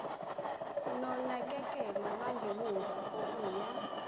nonakekelo lwangemuva kokuya